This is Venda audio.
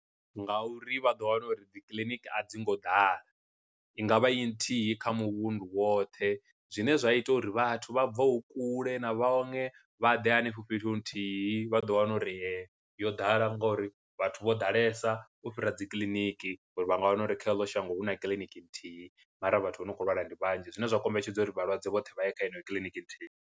Nga uri vha ḓo wana uri dzi kiḽiniki a dzi ngo ḓala, i ngavha i nthihi kha muvhundu woṱhe zwine zwa ita uri vhathu vha bvaho kule na vhaṅwe vha ḓe hanefho fhethu hu nthihi vha vha ḓo wana uri yo ḓala ngori vhathu vho ḓalesa u fhira dzi kiḽiniki uri vha nga wana uri kha eḽo shango huna kiḽiniki nthihi mara vhathu vho no kho lwala ndi vhanzhi, zwine zwa kombetshedza uri vhalwadze vhoṱhe vha ye kha heneyo kiḽiniki nthihi.